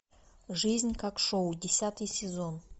жизнь как шоу десятый сезон